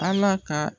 Ala ka